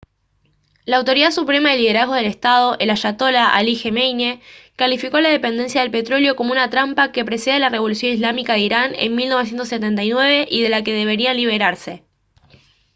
la autoridad suprema de liderazgo del estado el ayatolá ali jamenei calificó a la dependencia del petróleo como «una trampa» que precede a la revolución islámica de irán en 1979 y de la que deberían liberarse